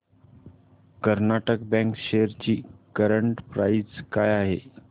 Karnataka bank shares ची current price काय आहे